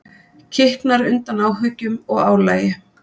Kiknar undan áhyggjum og álagi.